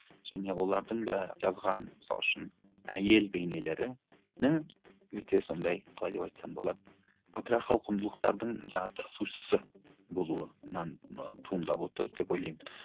және олардың да жазған мысалы үшін әйел бейнелерінің өте сондай қалай деп айтсам болады патриархал құндылықтардың жаңағы тасушысы болуынан ы туындап отыр деп ойлаймын